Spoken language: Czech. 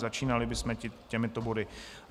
Začínali bychom těmito body.